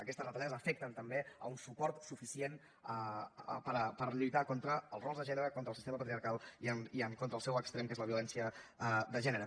aquestes retallades afecten també el suport suficient per lluitar contra els rols de gènere contra el sistema patriarcal i en contra el seu extrem que és la violència de gènere